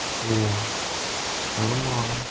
о нормально